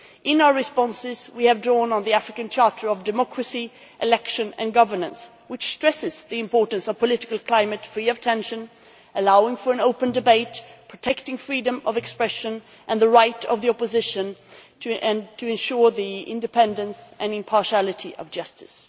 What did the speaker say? In our responses we have drawn on the African Charter on Democracy, Elections and Governance, which stresses the importance of a political climate free of tension, allowing for an open debate, protecting freedom of expression and the right of the opposition to ensure the independence and impartiality of justice.